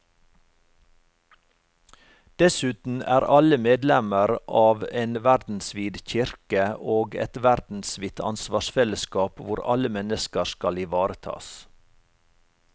Dessuten er alle medlemmer av en verdensvid kirke og et verdensvidt ansvarsfellesskap hvor alle mennesker skal ivaretas.